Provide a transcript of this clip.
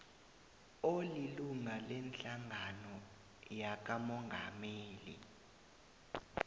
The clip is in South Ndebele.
olilunga lehlangano yakamongameli